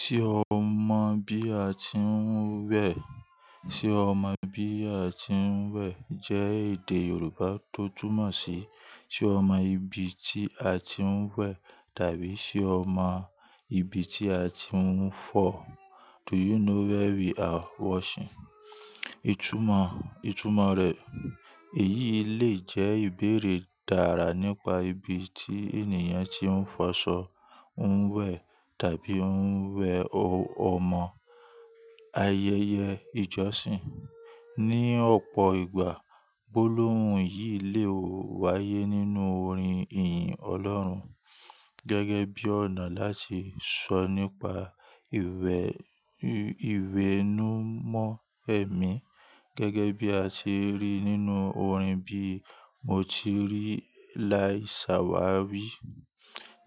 Ṣé o mọ bí a ti ń wẹ̀? Ṣé o mọ bí a ti ń wẹ̀ jẹ́ èdè Yorùbá tó túmọ̀ sí ṣé o mọ ibi tí a ti ń wẹ̀ tàbí ṣé o mọ ibi tí a ti ń fọ? Do you know where we are washing? Ìtúmọ̀, Ìtúmọ̀ rẹ̀, èyí lè jẹ́ ìbéèrè tára nípa ibi tí ènìyàn tí ń fọṣọ ń wẹ̀ tàbí ń wẹ ọmọ, ayẹyẹ, ìjọsìn. Ni ọ̀pọ̀ ìgbà, gbólóhùn yìí lè wáyé nínú orin ìhìn Ọlọ́run gẹ́gẹ́ bí ọ̀nà láti sọ nípa ìwẹ, ìwẹ̀nùmọ́ ẹ̀mí gẹ́gẹ́ bí a ti rí nínú orin bí "Mo ti rí láì ṣàwárí"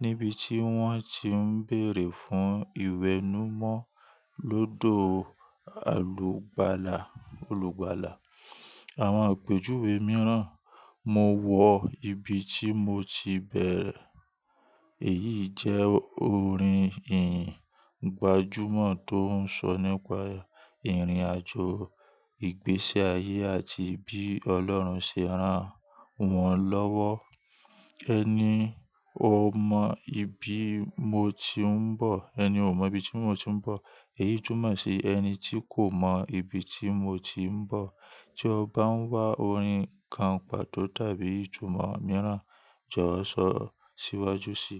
níbi tí wọ́n ti ń bèèrè fún ìwẹ̀nùmọ́ lọ́dọ̀ alùgbàlá, olùgbàlá. Àwọn àpèjúwe mìíràn, "Mo wọ ibi tí mo ti bẹ̀rẹ̀", èyí jẹ́ orin iyin ìgbàjámọ̀ tó ń sọ nípa ìrìnàjò, ìgbésí ayé àti bí Ọlọ́run ṣe rán wọn lọ́wọ́. Ẹni o mọ ibi mo ti ń bọ̀, ẹni ò mọ ibi tí mo ti ń bọ̀, èyí túmọ̀ sí ẹni tí kò mọ ibi tí mo ti ń bọ̀. Tí o bá ń wá orin kan pàtó tàbí ìtúmọ̀ mìíràn, jọ̀wọ́ sọ síwájú síi.